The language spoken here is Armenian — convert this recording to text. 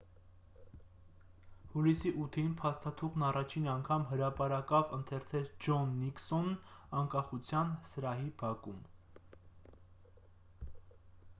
հուլիսի 8-ին փաստաթուղթն առաջին անգամ հրապարակավ ընթերցեց ջոն նիքսոնն անկախության սրահի բակում